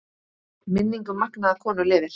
Minning um magnaða konu lifir.